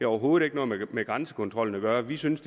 overhovedet ikke noget med grænsekontrollen at gøre vi synes